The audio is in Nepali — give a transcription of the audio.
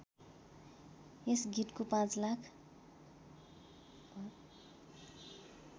यस गीतको ५ लाख